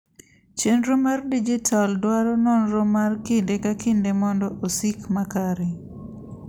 chenro mar dijital dwaro nonro mar kinde ka kinde mondo osik makare